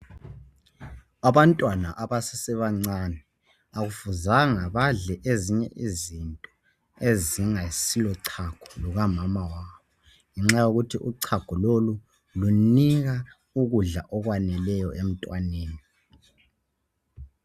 Abantwana abasesebancane akufanelanga badle ezinye izinto ezingasilo chago lukamama wabo ngenxa yokuthi uchago lolu lunika ukudla okwaneleyo emntwaneni.